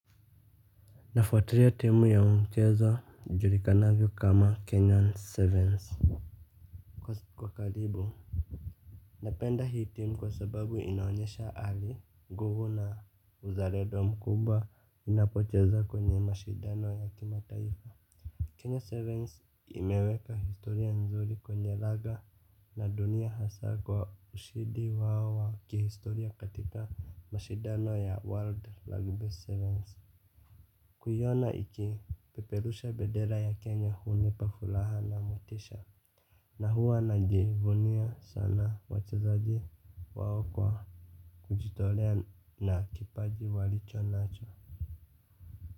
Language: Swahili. Nafuatilia timu ya mchezo ijuli kanavyo kama kenyan sevens. Kwa karibu napenda hii timu kwa sababu inaonyesha ali nguvu na uzalendo mkubwa inapocheza kwenye mashidano ya kimataifa Kenya sevens imeweka historia nzuri kwenye laga na dunia hasa kwa ushidi wao wa kihistoria katika mashidano ya world rugby sevens. Kuiona iki peperusha bedera ya Kenya huni pa furaha na mutisha. Na huwa na jivunia sana wachezaji wao kwa kujitolea na kipaji walicho nacho.